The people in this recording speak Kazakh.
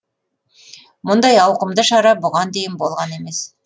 мұндай ауқымды шара бұған дейін болған емес